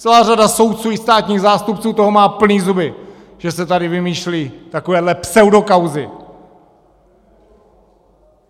Celá řada soudců i státních zástupců toho má plný zuby, že se tady vymýšlí takovéhle pseudokauzy!